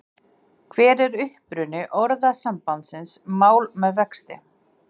Hver er uppruni orðasambandsins mál með vexti.